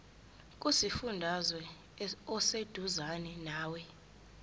kusifundazwe oseduzane nawe